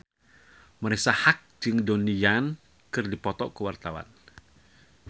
Marisa Haque jeung Donnie Yan keur dipoto ku wartawan